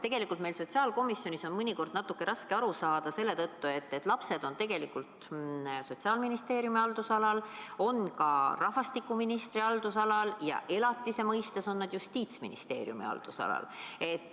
Tegelikult on meil sotsiaalkomisjonis sellest olukorrast mõnikord natuke raske aru saada, sest lapsed on tegelikult Sotsiaalministeeriumi haldusalas, ka rahvastikuministri haldusalas, aga elatisega seoses on nad Justiitsministeeriumi haldusalas.